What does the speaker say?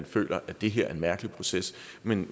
føler at det her er en mærkelig proces men